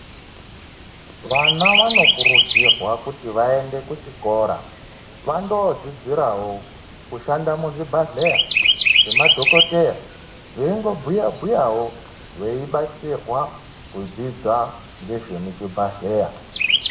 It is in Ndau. Vana vanokurudzirwa kuti vaende kuchikora vandodzidzirawo kushanda muzvibhadhleya mwemadhokodheya veingobuya buyawo veibatsirwa kudzidza ngezvemuchibhadhleya.